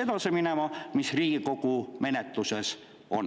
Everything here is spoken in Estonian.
edasi minema selle eelnõuga, mis Riigikogu menetluses on.